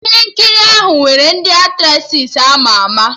Ihe nkiri ahụ nwere ndị Aktressị ama ama